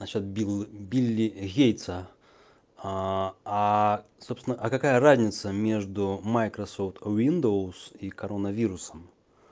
насчёт билл билли гейтса а а какая собственно а какая разница между майкрософт виндовс и коронавирусом